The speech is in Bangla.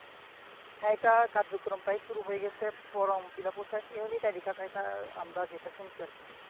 হ্যা এটা কার্যক্রম প্রায় শুরু হয়ে গেসে ফর্ম ফিল আপ ও শেষ ইউনিক আইডি কার্ড এইটা আমরা যেইটা শুনছি আর কি